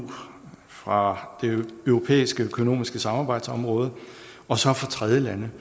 fra det europæiske økonomiske samarbejdsområde og så fra tredjelande